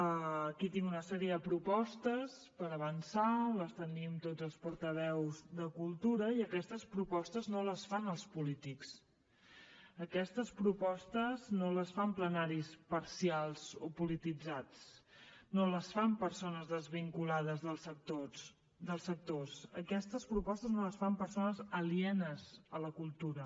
aquí tinc una sèrie de propostes per avançar les tenim tots els portaveus de cultura i aquestes propostes no les fan els polítics aquestes propostes no les fan plenaris parcials o polititzats no les fan persones desvinculades dels sectors aquestes propostes no les fan persones alienes a la cultura